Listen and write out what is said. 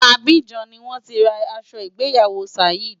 Abidjan ni wọ́n ti ra aṣọ ìgbéyàwó Saheed.